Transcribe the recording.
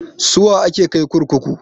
Suwa ake kai kurkuku?